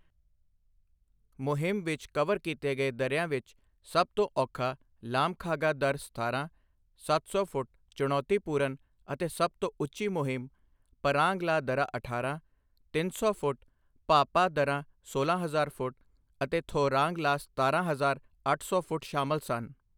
ਮੁਹਿੰਮ ਵਿੱਚ ਕਵਰ ਕੀਤੇ ਗਏ ਦੱਰਿਆਂ ਵਿੱਚ ਸਭ ਤੋਂ ਔਖਾ ਲਾਮਖਾਗਾ ਦੱਰਾ ਸਤਾਰਾਂ, ਸੱਤ ਸੌ ਫੁੱਟ ਚੁਣੌਤੀਪੂਰਨ ਅਤੇ ਸਭ ਤੋਂ ਉੱਚੀ ਮੁਹਿੰਮ ਪਰਾਂਗ ਲਾ ਦੱਰਾ ਅਠਾਰਾਂ, ਤਿੰਨ ਸੌ ਫੁੱਟ ਭਾ ਭਾ ਦੱਰਾ ਸੋਲਾਂ ਹਜ਼ਾਰ ਫੁੱਟ ਅਤੇ ਥੋਰਾਂਗ ਲਾ ਸਤਾਰਾਂ ਹਜ਼ਾਰ ਅੱਠ ਸੌ ਫੁੱਟ ਸ਼ਾਮਲ ਸਨ।